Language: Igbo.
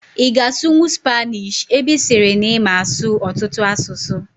Ị ga-asụnwu Spaanish ebe ị sịrị na ịma asụ ọtụtụ asụsụ?